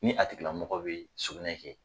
Ni a tigi lamɔgɔ bɛ sugunɛ kɛ.